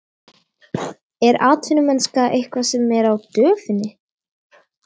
Er atvinnumennska eitthvað sem er á döfinni?